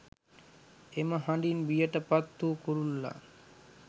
එම හඬින් බියට පත් වූ කුරුල්ලා